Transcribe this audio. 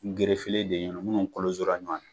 de ye minnu kolosora ɲuwan na.